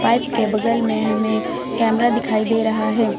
Pipe के बगल में हमें कैमरा दिखाई दे रहा है।